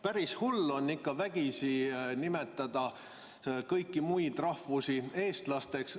Päris hull on ikka vägisi nimetada ka muudest rahvustest inimesi eestlasteks.